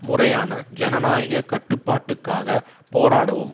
முறையான ஜனநாயக கட்டுப்பாட்டுக்காக போராடவும்